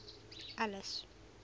alice